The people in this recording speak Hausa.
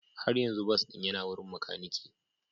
Har yanzu bas ɗin yana wurin makaniki.